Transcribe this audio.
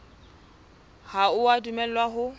ha o a dumellwa ho